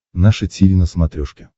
наше тиви на смотрешке